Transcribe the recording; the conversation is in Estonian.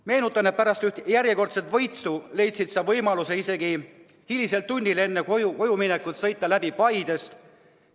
Meenutan, et pärast ühte järjekordset võitu leidsid sa võimaluse hilisel tunnil enne kojuminekut sõita läbi Paidest.